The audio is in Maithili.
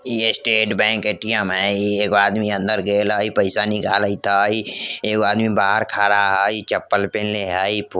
इ स्टेट बैंक ए.टी.एम. हई इ एगो आदमी अंदर गइल हई पइसा निकालत हई एगो आदमी बाहर खाड़ा हई चप्पल पेहेने हई --